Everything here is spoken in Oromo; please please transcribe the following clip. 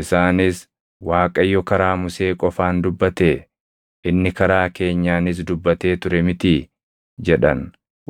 Isaanis, “ Waaqayyo karaa Musee qofaan dubbatee? Inni karaa keenyaanis dubbatee ture mitii?” jedhan.